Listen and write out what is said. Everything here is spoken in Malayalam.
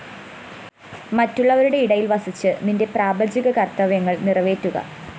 മറ്റുള്ളവരുടെ ഇടയില്‍ വസിച്ച് നിന്റെ പ്രാപഞ്ചിക കര്‍ത്തവ്യങ്ങള്‍ നിറവേറ്റുക